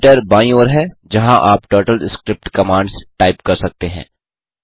editor बाईं ओर है जहाँ आप टर्टलस्क्रिप्ट कमांड्स टाइप कर सकते हैं